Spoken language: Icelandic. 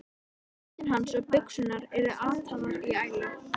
Jakkinn hans og buxurnar eru ataðar í ælu.